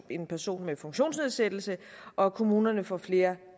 en person med funktionsnedsættelse og at kommunerne får flere